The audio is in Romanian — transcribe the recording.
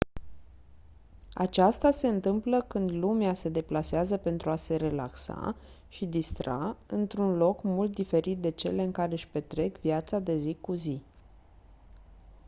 aceasta se întâmplă când lumea se deplasează pentru a se relaxa și distra într-un loc mult diferit de cele în care-și petrec viața de zi cu zi